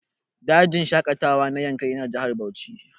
Dajin shaƙatawa na Yankari yana Jihar Bauchi